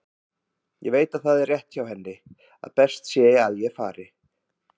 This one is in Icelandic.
Ég veit að það er rétt hjá henni að best sé að ég fari.